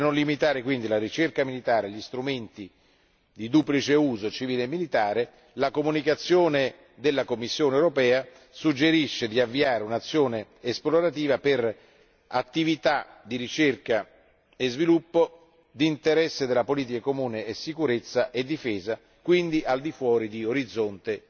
Per non limitare quindi la ricerca militare e gli strumenti di duplice uso, civile e militare, la comunicazione della Commissione europea suggerisce di avviare un'azione esplorativa per attività di ricerca e sviluppo d'interesse della politica comune di sicurezza e difesa, quindi al di fuori di Orizzonte